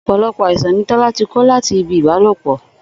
Ò̩pò̩lo̩pò̩ àìsàn ni Tó̩lá ti kó láti ibi ìbálòpò